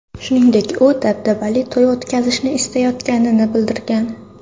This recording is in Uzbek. Shuningdek, u dabdabali to‘y o‘tkazishni istayotganini bildirgan.